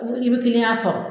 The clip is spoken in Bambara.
i b sɔrɔ.